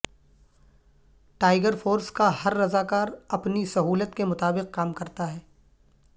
tiger force کا ہر رضاکار اپنی سہولت کے مطابق کام کرتا ہے